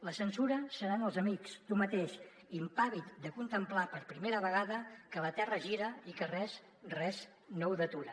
la censura seran els amics tu mateix impàvid de contemplar per primera vegada que la terra gira i que res res no ho detura